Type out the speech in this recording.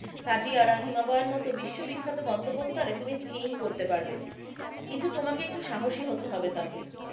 খাজিয়ার হিমবাহের মতো বিশ্ববিখ্যাত গন্তব্যস্থলে তুমি স্কিইং করতে পারবে কিন্তু তোমাকে সাহসী হতে হবে তাতেই,